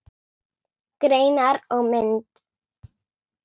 Greinar og mynd